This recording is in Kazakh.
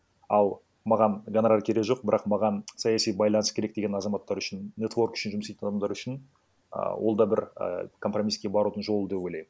ал маған гонорар керек жоқ бірақ маған саяси байланыс керек деген азаматтар үшін нетворк үшін жұмыс істейтін адамдар үшін а ол да бір ы компромисске барудын жолы деп ойлаймын